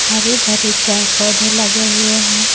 हरे भरे पेड पौधे लगे हुए हैं।